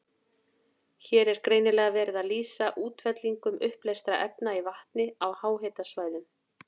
Hér er greinilega verið að lýsa útfellingum uppleystra efna í vatni á háhitasvæðum.